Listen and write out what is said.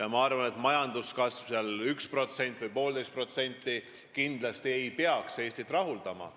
Ma arvan, et 1%-ne või 1,5%-ne majanduskasv ei peaks kindlasti Eestit rahuldama.